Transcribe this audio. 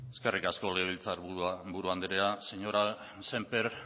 eskerrik asko legebiltzarburu andrea señor sémper